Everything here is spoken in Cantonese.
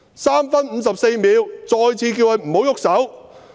3分54秒：我再次叫他們不要動手。